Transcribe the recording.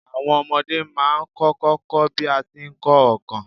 Àwon omodé má a n kókó ko bí a ti n ko óòkan